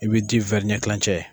I bi di ɲɛkilancɛ.